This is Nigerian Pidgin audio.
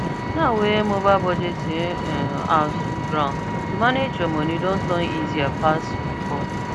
now wey mobile budgeting um apps full ground to manage your money don turn easier pass before